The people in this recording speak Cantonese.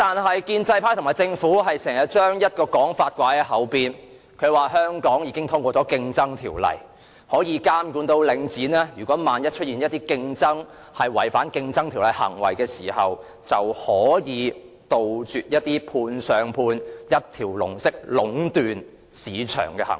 可是，建制派和政府常把一種說法掛在嘴邊，就是香港已經通過《競爭條例》，可以監察領展有否出現違反《競爭條例》的行為，也可杜絕判上判、一條龍式壟斷市場的行為。